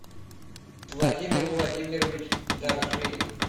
владимир владимирович даржиев